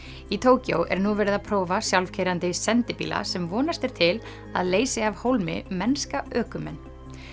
í Tókýó er nú verið að prófa sjálfkeyrandi sendibíla sem vonast er til að leysi af hólmi mennska ökumenn